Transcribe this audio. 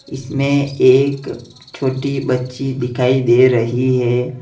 इसमें एक छोटी बच्ची दिखाइ दे रही है।